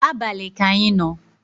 abali ka anyị no